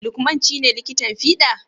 Lukman ci ne likitan fida?